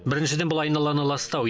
біріншіден бұл айналаны ластау